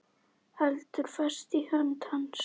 Heldur fast í hönd hans.